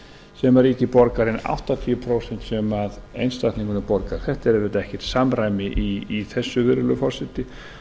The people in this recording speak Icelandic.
sem ríkið borgar en áttatíu prósent sem einstaklingurinn borgar það er auðvitað ekkert samræmi í þessu virðulegi forseti